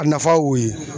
A nafa y'o ye